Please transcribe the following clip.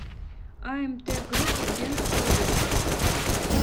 амт груп где находится